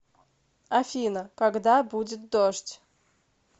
афина когда будет дождь